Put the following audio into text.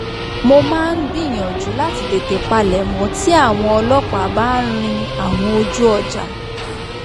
mo máa ń gbìyànjú láti tètè palẹ̀mọ́ tí àwọn ọlọ́pàá bá ń rin àwọn ojú ọjà